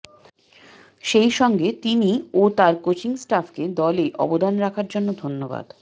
সেই সঙ্গে তিনি ও তার কোচিং স্টাফকে দলে অবদান রাখার জন্য ধন্যবাদ